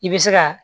I bɛ se ka